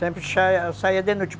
Sempre saía de noite.